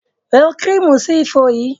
Lo kírímù sí ifo yìí!